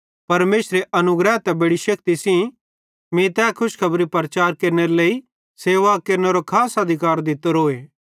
परमेशरे अनुग्रह ते बेड़ी शेक्ति सेइं मीं तै खुशखेबरारी प्रचार केरनेरो लेइ सेवा केरनेरो खास अधिकार दित्तोरोए